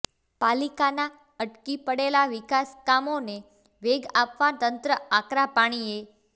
પાલીકાના અટકી પડેલા વિકાસકામોને વેગ આપવા તંત્ર આકરા પાણીએ